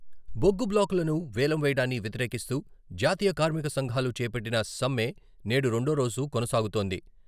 బొగ్గు బ్లాకులను వేలం వేయడాన్ని వ్యతిరేకిస్తూ జాతీయ కార్మిక సంఘాలు చేపట్టిన సమ్మె నేడు రెండో రోజు కొనసాగుతోంది.